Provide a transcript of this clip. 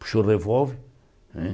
Puxou o revólver né.